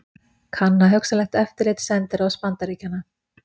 Kanna hugsanlegt eftirlit sendiráðs Bandaríkjanna